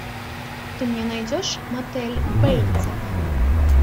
ты мне найдешь мотель бейтсов